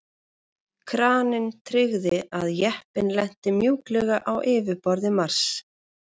Kraninn tryggði að jeppinn lenti mjúklega á yfirborði Mars.